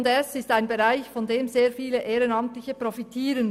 J+S ist ein Bereich, von dem sehr viele Ehrenamtliche profitieren.